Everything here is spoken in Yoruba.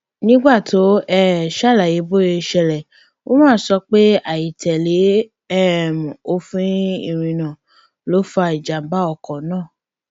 nígbà tó ń um ṣàlàyé bó ṣe ṣẹlẹ umar sọ pé àìtẹlẹ um òfin ìrìnnà ló fa ìjàmbá ọkọ náà